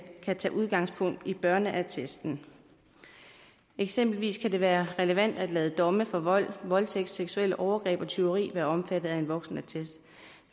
kan tage udgangspunkt i børneattesten eksempelvis kan det være relevant at lade domme for vold voldtægt seksuelle overgreb og tyveri være omfattet af en voksenattest